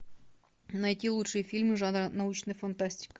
найти лучшие фильмы жанра научная фантастика